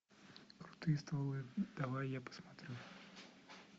крутые стволы давай я посмотрю